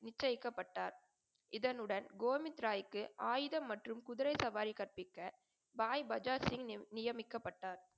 நிச்சயக்கபட்டார். இதனுடன் கோவித்ராய்க்கு ஆயுதம் மற்றும் குதிரை சவாரி கற்பிக்க, பாய் பஜாஜ்சிங் நியமிக்கப்பட்டார்.